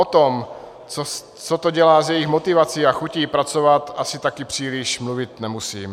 O tom, co to dělá s jejich motivací a chutí pracovat, asi taky příliš mluvit nemusím.